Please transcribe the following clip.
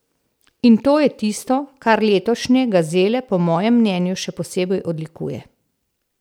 In to je tisto, kar letošnje gazele po mojem mnenju še posebej odlikuje.